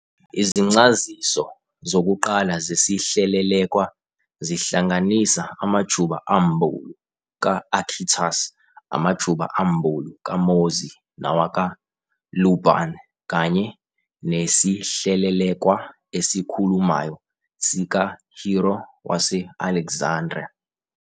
Izincaziso zokuqala zesihlelelekwa zihlanganisa amajuba ambulu ka-Arkhitas, amajuba ambulu ka-Mozi nawaka-Lu Ban, kanye nesihlelelekwa "esikhulumayo" sika-Hero wase-Alexandria.